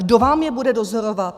Kdo vám je bude dozorovat?